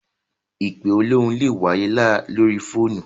Ìpe olóhùn lè wáyé lóri fóònù.